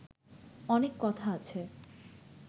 অনেক কথা আছে